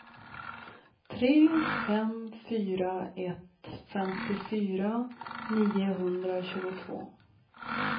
tre fem fyra ett femtiofyra niohundratjugotvå